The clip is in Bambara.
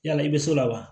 Yala i bɛ so la wa